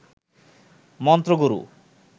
মন্ত্রগুরু